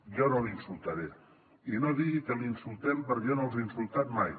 jo no l’insultaré i no digui que l’insultem perquè jo no els he insultat mai